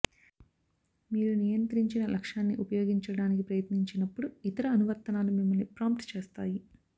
మీరు నియంత్రించిన లక్షణాన్ని ఉపయోగించడానికి ప్రయత్నించినప్పుడు ఇతర అనువర్తనాలు మిమ్మల్ని ప్రాంప్ట్ చేస్తాయి